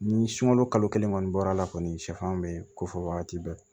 Ni sunkalo kalo kelen kɔni bɔr'a la kɔni sɛfan bɛ ko fɔ wagati bɛɛ